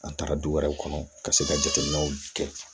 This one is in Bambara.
An taara du wɛrɛw kɔnɔ ka se ka jateminɛw kɛ